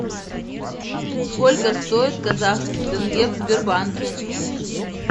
сколько стоит казахский тенге в сбербанке